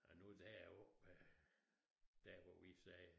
Og nu der oppe øh der hvor vi sagde